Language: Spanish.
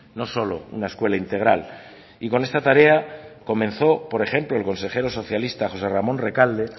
no solo una escuela integral y con esta tarea comenzó por ejemplo el consejero socialista josé ramón recalde